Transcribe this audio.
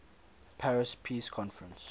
paris peace conference